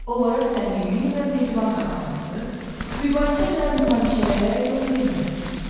onlara səmimi və mehriban davranmalı, mübahisə və münaqişələrə yol verməməliyik.